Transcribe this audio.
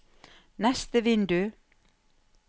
neste vindu